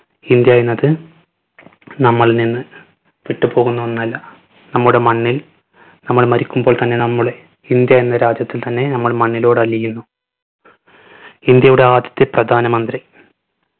India എന്നത് നമ്മളിൽ നിന്ന് വിട്ട് പോകുന്ന ഒന്നല്ല. നമ്മുടെ മണ്ണിൽ നമ്മൾ മരിക്കുമ്പോൾ തന്നെ നമ്മളെ ഇന്ത്യ എന്ന രാജ്യത്തിൽ തന്നെ നമ്മൾ മണ്ണിലോട് അലിയുന്നു. ഇന്ത്യയുടെ ആദ്യത്തെ പ്രധാന മന്ത്രി